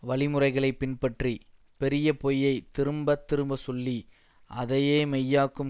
வழிமுறைகளை பின்பற்றி பெரிய பொய்யை திரும்பத்திரும்ப சொல்லி அதையே மெய்யாக்கும்